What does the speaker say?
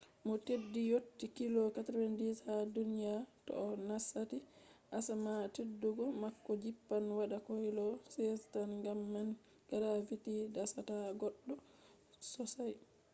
mo teddi yotti kilo 90 ha duniya to o nasati asama teddugo mako jippan waɗa kilo 16 tan gam man gravity dasata goɗɗo sosai